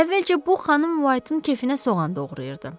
Əvvəlcə bu xanım Whiteın keyfinə soğan doğrayırdı.